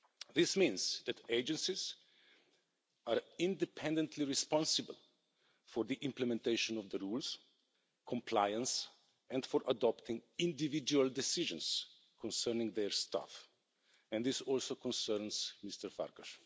This means that agencies are independently responsible for the implementation of the rules, compliance and for adopting individual decisions concerning their staff and this also concerns Mr Farkas.